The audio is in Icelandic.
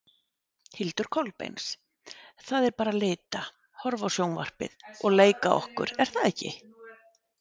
Hildur Kolbeins: Það er bara lita, horfa á sjónvarpið og leika okkur er það ekki?